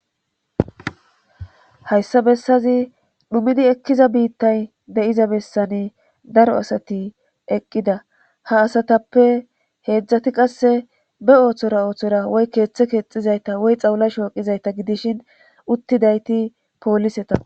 Hayssa bessazi dhumidi ekkiza biittay de7iza bessani daro asati eqqida ha asatappe heedzdzati qasse be ooththora ooththora woy keeththe keexizayta woy xawla shooqizayta gidishin uttidayti pooliseta